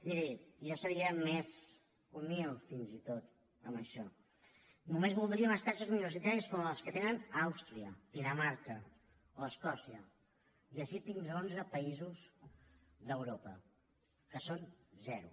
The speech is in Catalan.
mirin jo seria més humil fins i tot en això només voldria unes taxes universitàries com les que tenen àustria dinamarca o escòcia i així fins a onze països d’europa que són zero